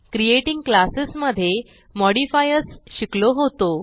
creating classes मधे modifiers शिकलो होतो